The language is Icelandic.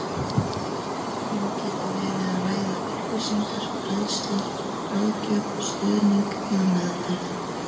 Um getur verið að ræða upplýsingar, fræðslu, ráðgjöf, stuðning eða meðferð.